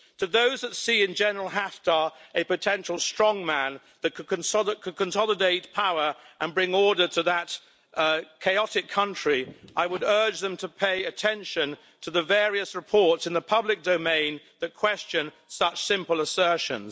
To those who see in General Haftar a potential strong man who could consolidate power and bring order to that chaotic country, I would urge them to pay attention to the various reports in the public domain that question such simple assertions.